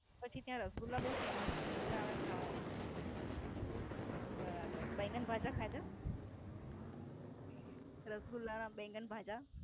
પછી ત્યાં રસગુલ્લા બોવ Famous મજા આવે ખાવાની. બરાબર. બેંગનભાજા ખાધા? રસગુલ્લા ના બેંગનભાજા?